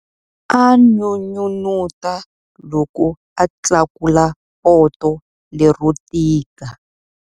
A n'unun'uta loko a tlakula poto lero tika.